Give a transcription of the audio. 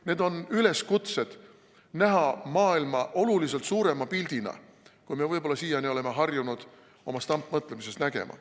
Need on üleskutsed näha maailma oluliselt suurema pildina, kui me võib-olla siiani oleme harjunud oma stampmõtlemises nägema.